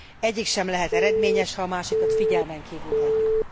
Egyik sem lehet eredményes, ha a másikat figyelmen kívül hagyjuk.